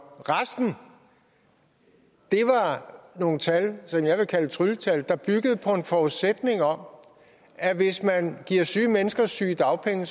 resten var nogle tal som jeg vil kalde trylletal der byggede på en forudsætning om at hvis man giver syge mennesker sygedagpenge